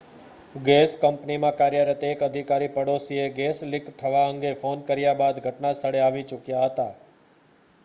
gas કંપનીમાં કાર્યરત એક અધિકારી પાડોશીએ ગેસ લીક થવા અંગે ફોન કર્યા બાદ ઘટના સ્થળે આવી ચૂક્યા હતા